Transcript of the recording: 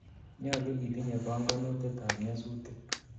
nyalu itinyei panganutit ab nyasutik